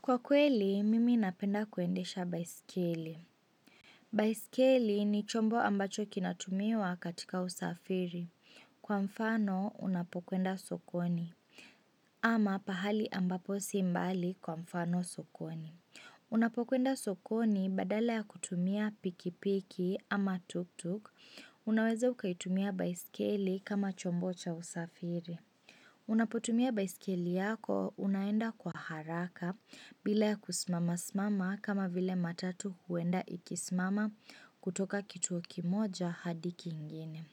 Kwa kweli, mimi napenda kuendesha baiskeli. Baiskeli ni chombo ambacho kinatumiwa katika usafiri. Kwa mfano, unapokwenda sokoni. Ama pahali ambapo si mbali kwa mfano sokoni. Unapokwenda sokoni badala ya kutumia pikipiki ama tuk-tuk, unaweze ukaitumia baiskeli kama chombo cha usafiri. Unapotumia baiskeli yako unaenda kwa haraka bila ya kusimama simama kama vile matatu huenda ikisimama kutoka kituo kimoja hadi kingine.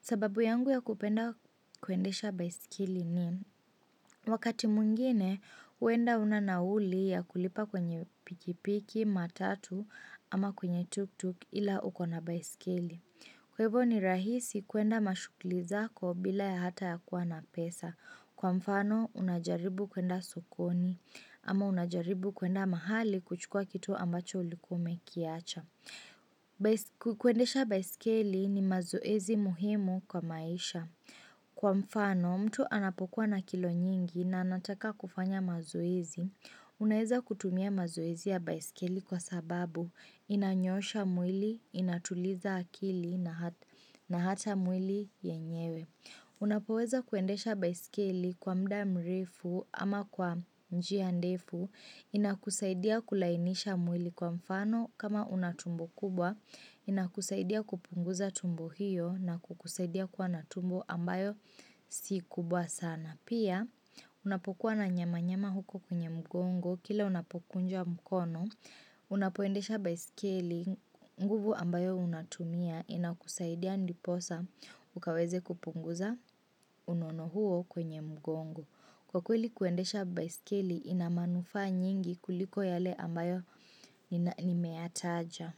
Sababu yangu ya kupenda kwendesha baiskeli ni wakati mwingine huenda huna nauli ya kulipa kwenye pikipiki matatu ama kwenye tuktuk ila ukona baiskeli Kwa hivyo ni rahisi kuenda mashughuli zako bila ya hata ya kuwa na pesa. Kwa mfano, unajaribu kwenda sokoni ama unajaribu keenda mahali kuchukua kitu ambacho ulikuwa umekiacha. Kuendesha baisikeli ni mazoezi muhimu kwa maisha. Kwa mfano, mtu anapokuwa na kilo nyingi na anataka kufanya mazoezi. Unaeza kutumia mazoezi ya baisikeli kwa sababu inanyoosha mwili, inatuliza akili na hata mwili yenyewe. Unapoweza kuendesha baiskeli kwa mda mrefu ama kwa njia ndefu inakusaidia kulainisha mwili kwa mfano kama unatumbo kubwa inakusaidia kupunguza tumbo hiyo na kukusaidia kwa na tumbo ambayo si kubwa sana. Pia, unapokuwa na nyama nyama huko kwenye mgongo, kila unapokunja mkono, unapoendesha baiskeli nguvu ambayo unatumia inakusaidia ndiposa ukaweze kupunguza unono huo kwenye mgongo. Kwa kweli kuendesha baiskeli inamanufa nyingi kuliko yale ambayo nimetaja.